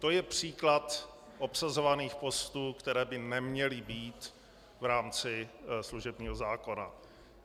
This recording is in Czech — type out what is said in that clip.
To je příklad obsazovaných postů, které by neměly být v rámci služebního zákona.